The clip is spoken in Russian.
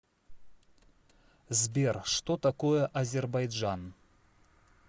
сбер что такое азербайджан